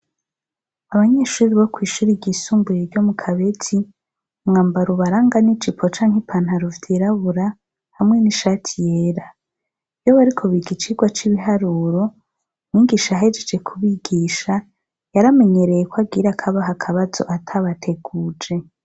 Abanyeshuri bo kw'ishuri igisumbuye ryo mu kabezi mwambara ubaranga n'ijipo canke ipantaruvye yrabura hamwe n'ishati yera iyo barikoba igicirwa c'ibiharuro wigisha ahejeje ku bigisha yaramenyereye ko agira ako abaha akabazo atabateguje.